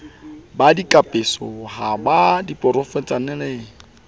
ba dikapeso ho ba diporofeshenale